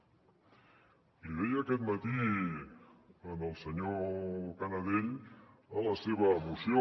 l’hi deia aquest matí al senyor canadell a la seva moció